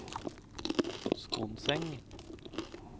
Skonseng